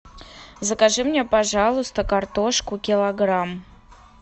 закажи мне пожалуйста картошку килограмм